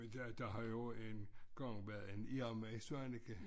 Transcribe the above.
Der har jo engang været en Irma i Svaneke